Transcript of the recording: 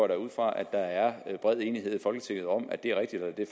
da ud fra at der er bred enighed i folketinget om at det er rigtigt at